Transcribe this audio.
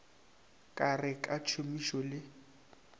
ka re ka tšhomišano le